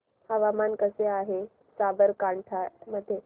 हवामान कसे आहे साबरकांठा मध्ये